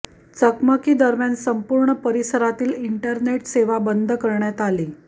चकमकी दरम्यान संपूर्ण परिसरातील इंटरनेट सेवा बंद करण्यात आली